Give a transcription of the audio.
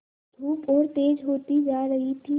धूप और तेज होती जा रही थी